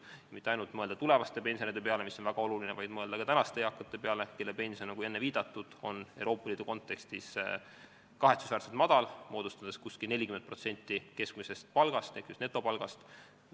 Ei tule mõelda mitte ainult tulevaste pensionäride peale, mis on muidugi väga oluline, vaid tuleb mõelda ka tänaste eakate peale, kelle pension, nagu enne viidatud, on Euroopa Liidu kontekstis kahetsusväärselt madal, moodustades 40% keskmisest netopalgast.